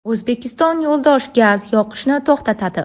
O‘zbekiston yo‘ldosh gaz yoqishni to‘xtatadi.